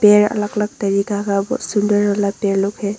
यह अलग अलग तरीका का बहुत सुंदर वाला पेड़ लोग हैं।